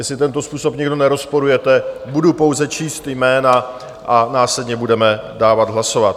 Jestli tento způsob nikdo nerozporujete, budu pouze číst jména a následně budeme dávat hlasovat.